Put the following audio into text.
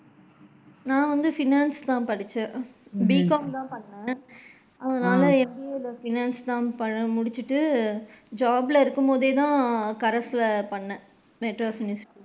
நான் வந்து finance தான் படிச்சேன் BCOM தான் பண்ணுனேன் அதனால MBA ல finance தான் முடிச்சிட்டு job ல இருக்கும் போதே தான் corres ல பண்னேன் .